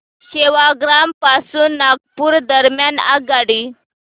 सेवाग्राम पासून नागपूर दरम्यान आगगाडी